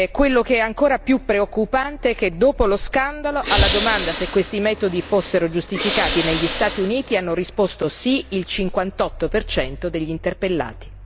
Quello che è ancora più preoccupante è che dopo lo scandalo, alla domanda se questi metodi fossero giustificati negli Stati Uniti, hanno risposto sì il 58 degli interpellati.